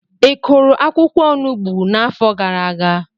Ị kụrụ akwụkwọ Onugbu n'afọ gara aga?